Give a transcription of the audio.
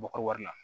B'u ka wari la